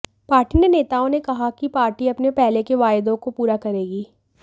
party ने नेताओं ने कहा कि पार्टी अपने पहले के वायदों को पूरा करेगी